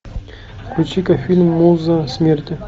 включи ка фильм муза смерти